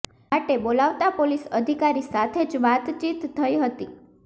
માટે બોલાવતા પોલીસ અધિકારી સાથે જ વાતચીત થઇ હતી